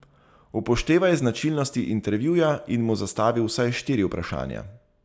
Upoštevaj značilnosti intervjuja in mu zastavi vsaj štiri vprašanja.